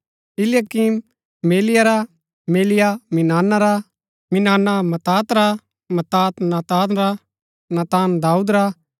इलयाकीम मेलिया रा मेलिया मिनाना रा मिनाना मत्‍तात रा मत्‍तात नातान रा नातान दाऊद रा